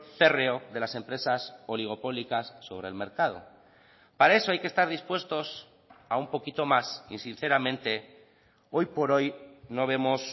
férreo de las empresas oligopólicas sobre el mercado para eso hay que estar dispuestos a un poquito más y sinceramente hoy por hoy no vemos